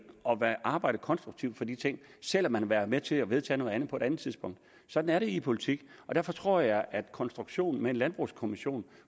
og arbejde konstruktivt for de ting selv om de har været med til at vedtage noget andet på et andet tidspunkt sådan er det i politik og derfor tror jeg at konstruktionen med en landbrugskommission